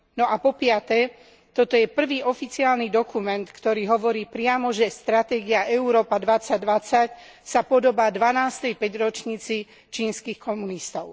A po piate, toto je prvý oficiálny dokument, ktorý hovorí priamo, že stratégia Európa 2020 sa podobá dvanástej päťročnici čínskych komunistov.